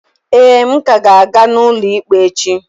Ee, m ka ga-aga n'ụlọ ikpe echi.